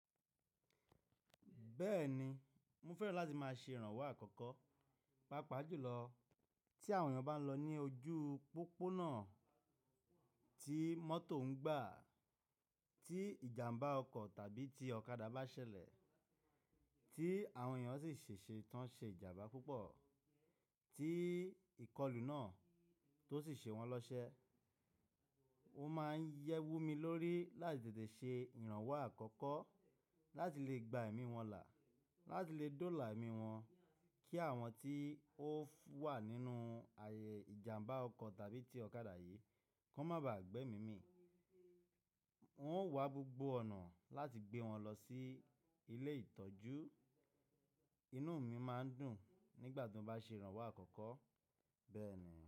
Bẹ́ẹ̀ni, mo fẹ́ràn láti máa ṣe ìrànwọ́ àkọ́kọ́, pàápàá jùlọ tí àwọn èèyàn bá ń lọ ní ojú pópónà, tí mọ́tò ń gbà, tí ìjàmbá ọkọ̀ tàbí tí ọ̀kadà bá ṣẹlẹ̀, tí àwọn èèyàn sì ṣèṣe tán ṣe ìjàmbá púpọ̀, tí ìkọlù náà tó sì ṣe wọn lọ́sẹ. Ó máa ń yẹ́ wú mi lórí láti tètè ṣe ìrànwọ́ àkọ́kọ́ láti lè gba ẹ̀mí wọn là, láti lè dóòlà ẹ̀mí wọn kí àwọn tí ó wà nínú ààyè ìjàmbá ọkọ̀ tàbí tí ọ̀kadà yìí kó má ba à gbẹ́ mí mí. N ó wa gbogbo ọ̀nà láti gbé wọn lọ sí ilé ìtọ́jú. Inú mi máa ń dùn nígbà tí mo bá ṣe ìrànwọ́ àkọ́kọ́ bẹ́ẹ̀ ni.